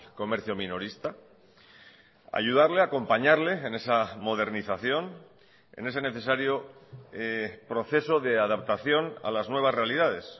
comercio minorista ayudarle acompañarle en esa modernización en ese necesario proceso de adaptación a las nuevas realidades